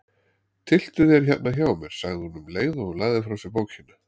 Tylltu þér hérna hjá mér, sagði hún um leið og hún lagði frá sér bókina.